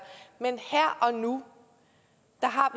men her og nu